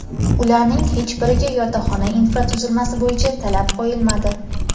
ularning hech biriga yotoqxona infratuzilmasi bo‘yicha talab qo‘yilmadi.